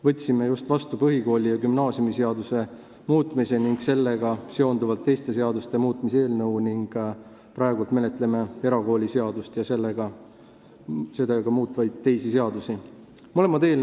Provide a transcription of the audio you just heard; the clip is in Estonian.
Võtsime just vastu põhikooli- ja gümnaasiumiseaduse muutmise ning sellega seonduvalt teiste seaduste muutmise seaduse, praegu menetleme erakooliseaduse muutmise ja sellega seonduvalt teiste seaduste muutmise seaduse eelnõu.